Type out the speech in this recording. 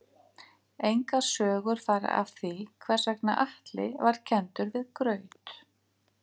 Engar sögur fara af því hvers vegna Atli var kenndur við graut.